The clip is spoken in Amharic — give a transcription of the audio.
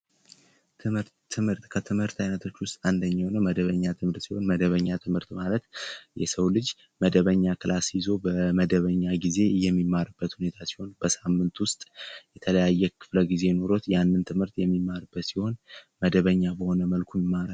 ትምህርት ከትምህርት አይነቶች ውስጥ አንዱ የሆነው መደበኛ ትምህርት ሲሆን መደበኛ ትምህርት ማለት የሰው ልጅ መደበኛ ክላስ ይዞ በመደበኛ በሆነጊዜ የሚማርበት ሲሆን መደበኛ በሆነ መልኩ ይማራል።